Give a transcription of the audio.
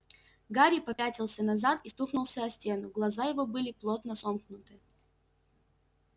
гарри попятился назад и стукнулся о стену глаза его были плотно сомкнуты